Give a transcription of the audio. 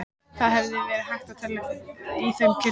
Það hefði verið hægt að telja í þeim kirtlana.